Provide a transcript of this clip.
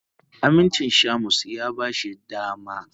Amincin Shamus ya ba shi dama.